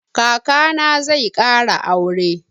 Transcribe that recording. Kaka na zai ƙara aure.